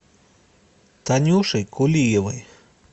танюшей кулиевой